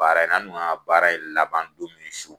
Baara in na an tun kan ka baara in laban don min su